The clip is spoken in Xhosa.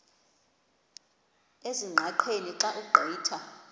ezingqaqeni xa ugqitha